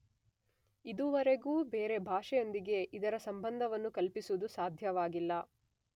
ಇದುವರೆಗೂ ಬೇರೆ ಭಾಷೆಯೊಂದಿಗೆ ಇದರ ಸಂಬಂಧವನ್ನು ಕಲ್ಪಿಸುವುದು ಸಾಧ್ಯವಾಗಿಲ್ಲ.